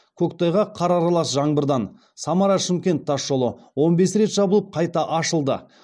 көктайғақ қар аралас жаңбырдан самара шымкент тасжолы он бес рет жабылып қайта ашылды